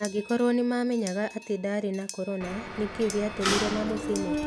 "Angĩkorũo nĩ maamenyaga atĩ ndarĩ na corona, nĩ kĩĩ gĩatũmire mamũcine?"